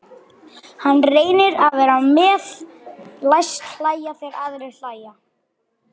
Hann reynir að vera með, læst hlæja þegar aðrir hlæja.